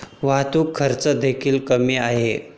वाहतूक खर्च देखील कमी आहे.